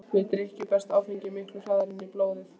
Við drykkju berst áfengi miklu hraðar inn í blóðið.